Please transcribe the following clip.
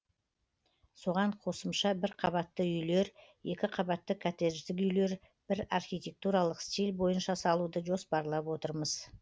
соған қосымша бір қабатты үйлер екі қабатты коттеждік үйлер бір архитектуралық стиль бойынша салуды жоспарлап отырмыз